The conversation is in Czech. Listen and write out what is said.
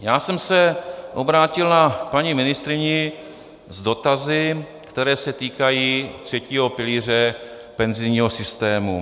Já jsem se obrátil na paní ministryni s dotazy, které se týkají třetího pilíře penzijního systému.